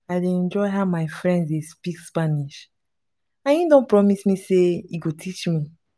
i dey enjoy how my friend dey speak spanish and he don promise me say he go teach me